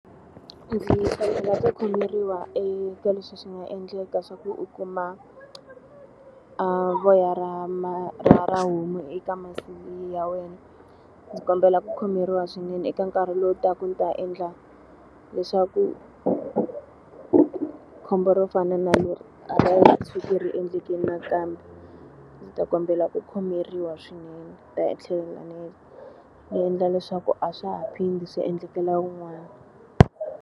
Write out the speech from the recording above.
Khomeriwa eka leswi swi nga endleka swa ku u kuma voya ra ra ra homu eka masi ya wena. Ndzi kombela ku khomeriwa swinene eka nkarhi lowu taka ndzi ta endla leswaku khombo ro fana na leri a tshuki ri endleke nakambe. Ndzi ta kombela ku khomeriwa swinene. Ndzi ta tlhela ndzi endla leswaku a swa ha phindi swi endlekela wun'wana.